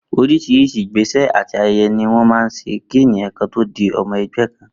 Orís̩rís̩i ìgbésè̩ àti aye̩ye̩ ni wó̩n máa ń s̩e kí èèyàn kan tó di o̩mo̩ e̩gbé̩ kan